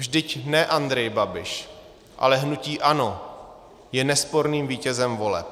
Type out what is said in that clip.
Vždyť ne Andrej Babiš, ale hnutí ANO je nesporným vítězem voleb.